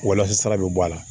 Walasa bɛ bɔ a la